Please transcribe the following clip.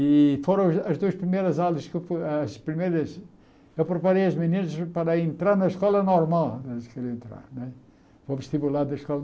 E foram as as duas primeiras aulas que eu as primeiras eu preparei as meninas para entrar na escola normal que elas queriam entrar né. O vestibular da escola